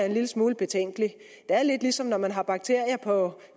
en lille smule betænkelig det er lidt ligesom når man har bakterier på